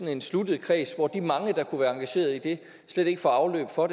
en sluttet kreds hvor de mange der kunne være engageret i det slet ikke får afløb for